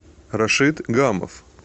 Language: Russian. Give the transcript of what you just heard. рашид гамов